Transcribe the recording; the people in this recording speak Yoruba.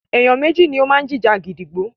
Èèyàn méjì ni ó máa ń jìjà gídígbò.